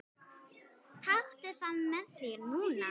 Taktu það með þér núna!